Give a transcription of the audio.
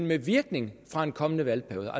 med virkning fra en kommende valgperiode